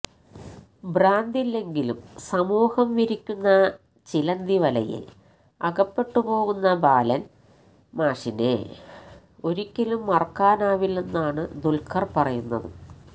ഭ്രാന്തില്ലെങ്കിലും സമൂഹം വിരിക്കുന്ന ചിലന്തിവലയില് അകപ്പെട്ടുപോകുന്ന ബാലന് മാഷിനെ ഒരിക്കലും മറക്കാനാവില്ലെന്നാണ് ദുല്ക്കര് പറയുന്നത്